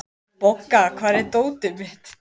Bogga, hvar er dótið mitt?